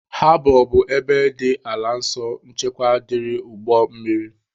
Habọ bụ ebe dị ala nso nchekwa dịrị ụgbọ mmiri.